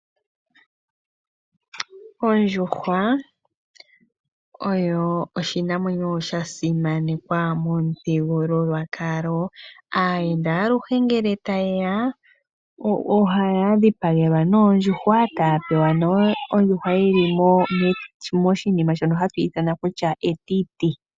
Ondjuhwa oyo oshinamwenyo sha simanekwa momuthigululwakalo gwAawambo. Aayenda aluhe ngele taye ya ohaya dhipagelwa ondjuhwa e taya pewa ondjuhwa yi li metiti.